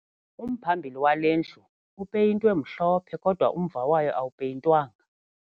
Umphambili wale ndlu upeyintwe mhlophe kodwa umva wayo awupeyintwanga.